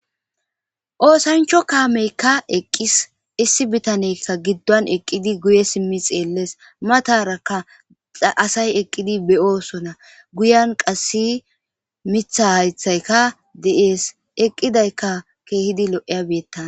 oosancho kaameykka eqqis issi bitaneykka gidduwan eqqidi guye simmi xeellees matarakka aasay eqqidi be7oosona guyan qassi mitha haythayka de7ees eqqidayka keehidi lo7eya beettan